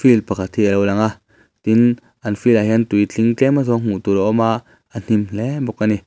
field pakhat hi alo lang a tin an field ah hian tui tling tlem a zawng hmuh tur a awm a a hnim hle bawk ani.